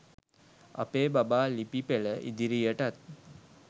අපේ බබා ලිපි පෙළ ඉදිරියටත්